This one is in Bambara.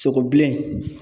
Sogo bilen